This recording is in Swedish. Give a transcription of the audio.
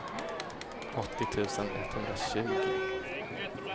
åttio tusen etthundratjugo